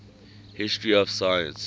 history of science